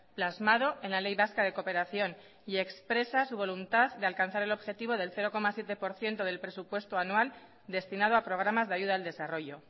plasmado en la ley vasca de cooperación y expresa su voluntad de alcanzar el objetivo del cero coma siete por ciento del presupuesto anual destinado a programas de ayuda al desarrollo